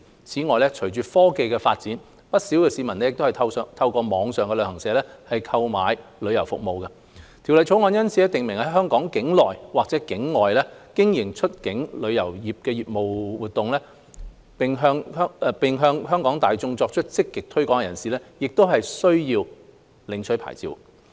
此外，隨着科技發展，不少市民透過網上旅行社購買旅遊服務，《條例草案》因此訂明在香港境內或境外經營出境旅遊業務活動，並向香港大眾作出積極推廣的人士，亦須領取牌照。